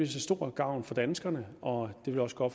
til stor gavn for danskerne og det vil også gå